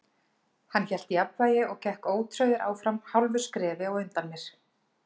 Hann hélt jafnvægi og gekk ótrauður áfram hálfu skrefi á undan mér.